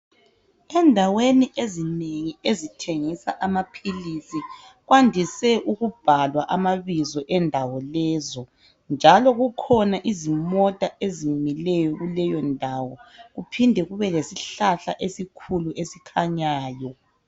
Endaweni ezinengi ezithengisa amaphilisi kwandise ukubhalwa amabizo endawo lezo, njalo kukhona izimota ezimileyo kuleyo ndawo. Kuphinde kube lesihlahla esikhulu esikhanyayo.